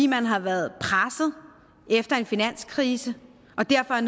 man har været presset efter en finanskrise og derfor har